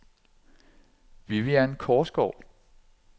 Vivian Korsgaard